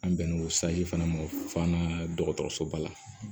An bɛn n'o fana ma fana dɔgɔtɔrɔsoba la